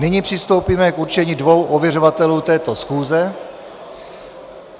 Nyní přistoupíme k určení dvou ověřovatelů této schůze.